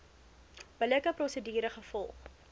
billike prosedure gevolg